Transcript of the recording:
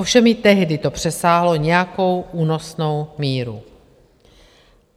Ovšem i tehdy to přesáhlo nějakou únosnou míru.